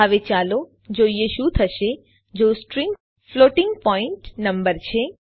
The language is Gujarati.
હવે ચાલો જોઈએ શું થશે જો સ્ટ્રીંગ ફ્લોટિંગ પોઈન્ટ નંબર છે